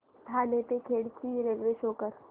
ठाणे ते खेड ची railway show करा